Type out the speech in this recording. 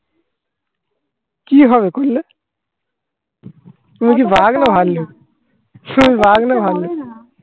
কি হবে কইলে? তুমি কি বাঘ না ভাল্লুক? তুমি বাঘ না ভাল্লুক